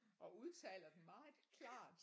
Og udtaler dem meget klart